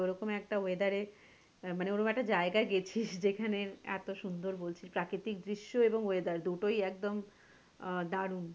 ওরকম একটা weather এর না মানে ওরকম একটা জায়গায় গেছিস যেখানে এতো সুন্দর বলছিস প্রাকৃতিক দৃশ্য এবং weather দুটোই একদম আহ দারুন,